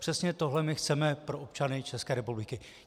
Přesně tohle my chceme pro občany České republiky.